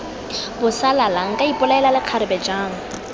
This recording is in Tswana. bosalala nka ipolaela lekgarebe jang